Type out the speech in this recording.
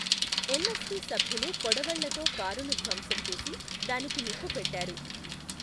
MST సభ్యులు కొడవళ్లతో కారును ధ్వంసం చేసి, దానికి నిప్పు పెట్టారు.